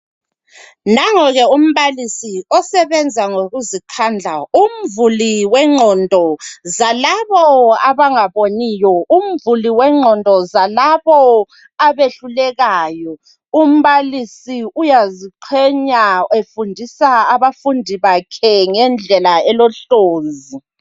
Nangoke umbalisi osebenza ngokuzikhandla umvuli wengqondo zalabo abangaboniyo, umvuli wengqondo zalabo abehlulekayo. Umbalisi uyaziqhenya efundisa abafundi bakhe ngendlela elohlonzi.